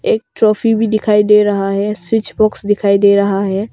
एक ट्रॉफी भी दिखाई दे रहा है स्विच बॉक्स दिखाई दे रहा है।